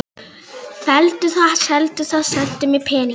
Felldu það, seldu það, sendu mér peningana.